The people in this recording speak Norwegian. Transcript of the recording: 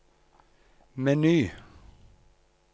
meny